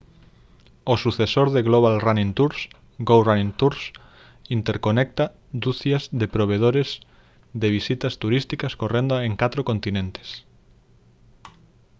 o sucesor de global running tours go running tours interconecta ducias de provedores de visitas turísticas correndo en catro continentes